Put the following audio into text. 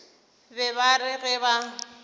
be ba re ge ba